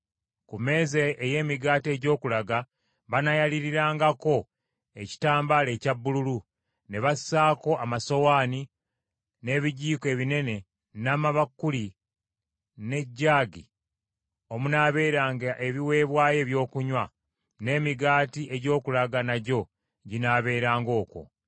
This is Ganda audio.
“Ku mmeeza ey’Emigaati egy’Okulaga banaayaliirangako ekitambala ekya bbululu, ne bassaako amasowaane, n’ebijiiko ebinene, n’amabakuli, n’ejaagi omunaabeeranga ebiweebwayo ebyokunywa; n’emigaati egy’okulaga nagyo ginaabeeranga okwo.